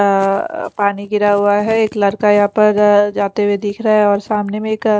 अ पानी गिरा हुआ है एक लड़का यहाँ पर जाते हुए दिख रहा है और सामने एक अ--